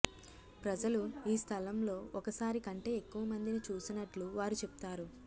ప్రజలు ఈ స్థలంలో ఒకసారి కంటే ఎక్కువ మందిని చూసినట్లు వారు చెప్తారు